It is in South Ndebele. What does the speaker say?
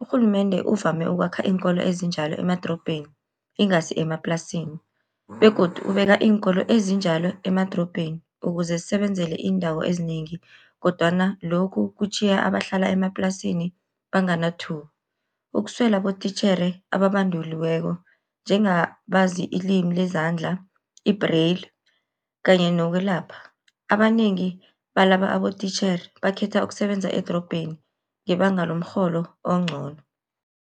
Urhulumende uvame ukwakha iinkolo ezinjalo emadorobheni, ingasi emaplasini, begodu ubeka iinkolo ezinjalo emadorobheni ukuze zisebenzele iindawo ezinengi kodwana lokhu kutjhiya abahlala emaplasini . Ukuswela abotitjhere ababanduliweko njengabazi ilimi lezandla, i-brail kanye nokwelapha, abanengi balaba abotitjhere bakhetha ukusebenza edorobheni ngebanga lomrholo oncono.